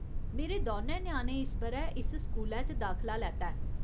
मेरे दौनें ञ्याणें इस ब'रै इस स्कूलै च दाखला लैता ऐ।